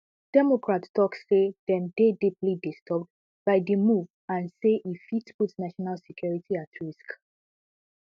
democrats tok say dem dey deeply disturbed by di move and say e fit put national security at risk